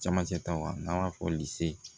Camancɛ ta wa n'an b'a fɔ